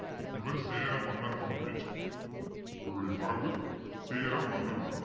இவர் சேர மன்னர் மரபை சார்ந்தவர் இவருடைய மரபு சேர மன்னர் மரபு